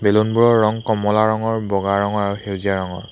Balloon বোৰৰ ৰং কমলা ৰঙৰ বগা ৰঙৰ আৰু সেউজীয়া ৰঙৰ।